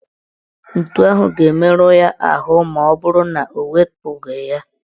Ntu ahụ ga-emerụ ya ahụ maọbụrụ na ewepụghị ya.